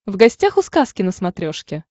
в гостях у сказки на смотрешке